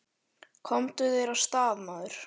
Komdu þér af stað, maður!